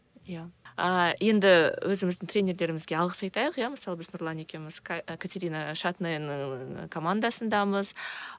иә ааа енді өзіміздің тренерлерімізге алғыс айтайық иә мысалы біз нұрлан екеуіміз екатерина шатнаяның командасындамыз